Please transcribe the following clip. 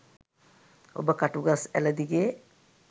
ඔබ කටුගස් ඇළ දිගේ